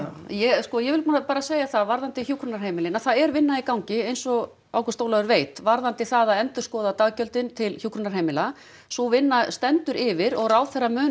ég sko ég vil núna bara segja það varðandi hjúkrunarheimilin að það er vinna í gangi eins og Ágúst Ólafur veit varðandi það að endurskoða daggjöldin til hjúkrunarheimilanna sú vinna stendur yfir og ráðherra mun